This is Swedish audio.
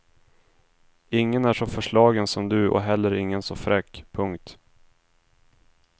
Ingen är så förslagen som du och heller ingen så fräck. punkt